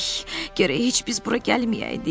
Ey, gərək heç biz bura gəlməyəydik.